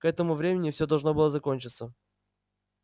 к этому времени все должно было закончиться